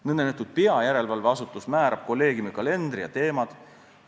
Nõndanimetatud peajärelevalveasutus määrab kolleegiumi kalendri ja teemad.